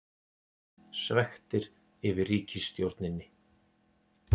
Svekktir yfir ríkisstjórninni